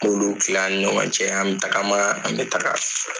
N b'u kila an ni ɲɔgɔn cɛ an bɛ tagama an bɛ taga